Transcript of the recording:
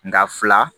Nka fila